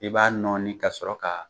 I b'a nɔni ka sɔrɔ ka